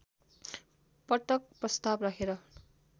पटक प्रस्ताव राखेर